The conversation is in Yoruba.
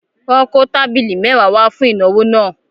Wọ́n kó tábìlì mẹ́wàá wá fún ìnáwó náà.